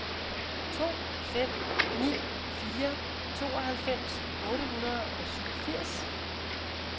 to fem ni fire tooghalvfems otte hundrede og syvogfirs